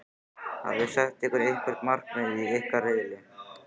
Hafiði sett ykkur einhver markmið í ykkar riðli?